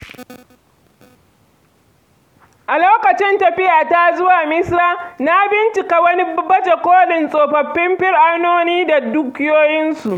A lokacin tafiyata zuwa Misira, na bincika wani baje kolin tsofaffin fir’aunoni da dukiyoyinsu.